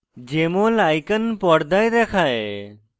jmol icon পর্দায় দেখায়